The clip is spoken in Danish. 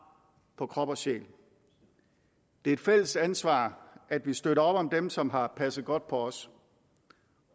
på krop og sjæl det er et fælles ansvar at vi støtter op om dem som har passet godt på os